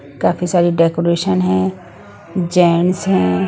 काफी सारी डेकोरेशन हैं जेंट्स हैं ।